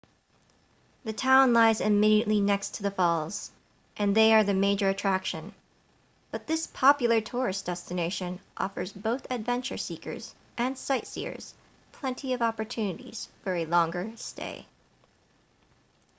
the town lies immediately next to the falls and they are the major attraction but this popular tourist destination offers both adventure seekers and sightseers plenty of opportunities for a longer stay